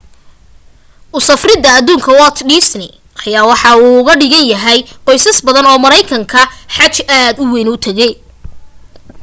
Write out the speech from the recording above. usafrida aduunka walt disney ayaa waxa ay uuga dhigantahay qoysas badan oo mareykana xaj aad u weyn